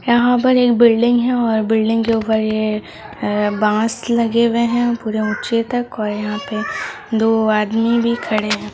यहा पर एक बिल्डिंग हे और बिल्डिंग के ऊपर ये बांस लगे हुए हे पूरे ऊंचे तक और यहां पर दो आदमी भी खड़े हैं।